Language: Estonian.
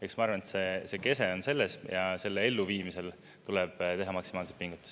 Eks ma arvan, et see kese on selles, ja selle elluviimisel tuleb teha maksimaalseid pingutusi.